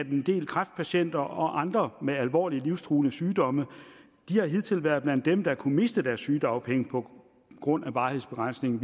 en del kræftpatienter og andre med alvorlige livstruende sygdomme har hidtil været blandt dem der kunne miste deres sygedagpenge på grund af varighedsbegrænsningen